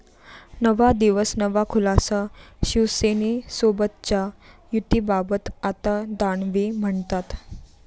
नवा दिवस नवा खुलासा, शिवसेनेसोबतच्या युतीबाबत आता दानवे म्हणतात...